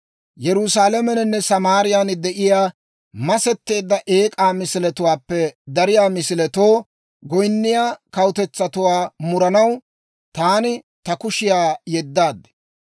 Yerusaalameninne Samaariyaan de'iyaa masetteedda eek'aa misiletuwaappe dariyaa misiletoo goyinniyaa kawutetsatuwaa muranaw, taani ta kushiyaa yeddaad.